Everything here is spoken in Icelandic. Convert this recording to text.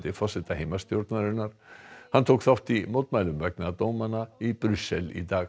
forseta heimastjórnarinnar hann tók þátt í mótmælum vegna dómanna í Brussel í dag